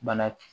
Bana